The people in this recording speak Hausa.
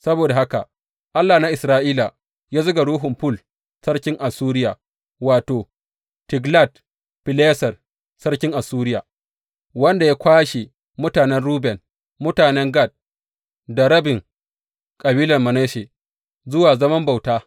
Saboda haka Allah na Isra’ila ya zuga ruhun Ful sarkin Assuriya wato, Tiglat Fileser sarkin Assuriya, wanda ya kwashe mutanen Ruben, mutanen Gad da rabin kabilar Manasse zuwa zaman bauta.